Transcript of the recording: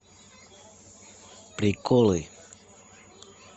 приколы